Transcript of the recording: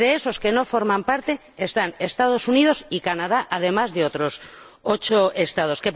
Y entre los que no forman parte están los Estados Unidos y Canadá, además de otros ocho Estados.